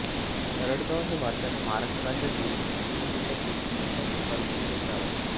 तरटगाव हे भारताच्या महाराष्ट्र राज्यातील पुणे जिल्ह्यातील इंदापूर तालुक्यातील एक गाव आहे